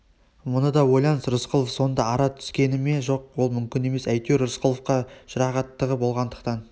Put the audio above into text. мұны да ойлаңыз рысқұлов сонда ара түскені ме жоқ ол мүмкін емес әйтеуір рысқұловқа жұрағаттығы болғандықтан